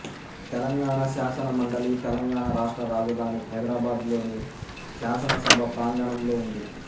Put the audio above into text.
తెలంగాణ శాసన మండలి తెలంగాణ రాష్ట్ర రాజధాని హైదరాబాద్ లోని శాసనసభ ప్రాంగణంలో ఉంది